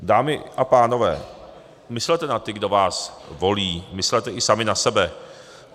Dámy a pánové, myslete na ty, kdo vás volí, myslete i sami na sebe.